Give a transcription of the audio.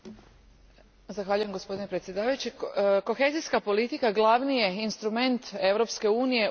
Kohezijska politika glavni je instrument Europske unije u borbi protiv krize i recesije.